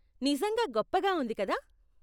నిజంగా గొప్పగా ఉంది, కదా ?